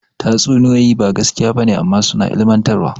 Tatsuniyoyi ba gaskiya ba ne amma suna ilmantarwa.